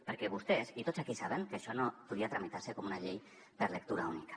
perquè vostès i tots aquí sabem que això no podia tramitar se com una llei per lectura única